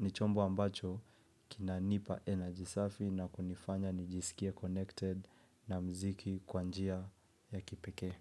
Ni chombo ambacho kina nipa energy safi na kunifanya nijisikie connected na muziki kwa njia ya kipekee.